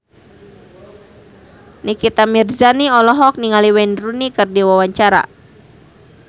Nikita Mirzani olohok ningali Wayne Rooney keur diwawancara